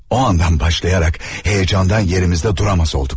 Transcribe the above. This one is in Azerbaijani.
O andan başlayaraq hecandan yerimizdə duramaz olduq.